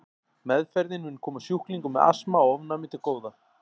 Meðferðin mun koma sjúklingum með astma og ofnæmi til góða.